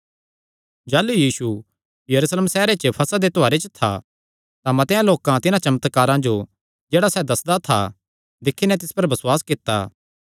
जाह़लू यीशु यरूशलेम सैहरे च फसह दे त्योहारे च था तां मतेआं लोकां तिन्हां चमत्कारां जो जेह्ड़ा सैह़ दस्सदा था दिक्खी नैं तिस पर बसुआस कित्ता